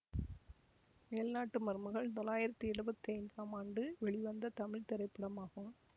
மேல் நாட்டு மருமகள் தொளாயிரத்தி எழுபத்தி ஐந்தாம் ஆண்டு வெளிவந்த தமிழ் திரைப்படமாகும்